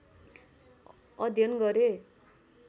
अध्ययन गरे